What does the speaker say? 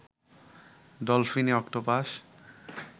ডলফিনি octopus